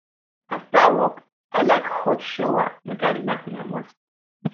um after work i like um hot um shower make i relax my muscle